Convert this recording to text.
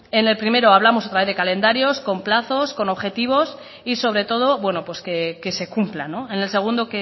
en el primero hablamos otra vez de calendarios con plazos con objetivos y sobre todo que se cumplan en el segundo